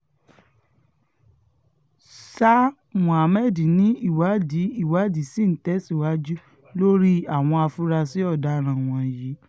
sa mohammed ni ìwádìí ìwádìí ṣì ń tẹ̀síwájú lórí àwọn afurasí ọ̀daràn wọ̀nyí